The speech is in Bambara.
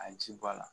A ji bɔ a la